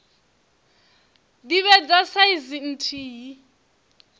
dzi vhe dza saizi nthihi